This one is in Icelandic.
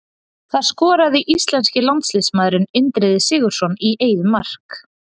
Það skoraði íslenski landsliðsmaðurinn Indriði Sigurðsson í eigið mark.